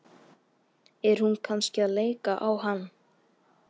Er hún kannski að leika á hann?